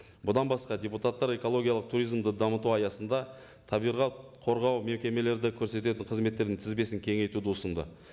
бұдан басқа депутаттар экологиялық туризмді дамыту аясында табиғат қорғау мекемелерді көрсететін қызметтердің тізбесін кеңейтуді ұсынды